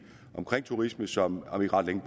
omkring turisme som om ikke ret længe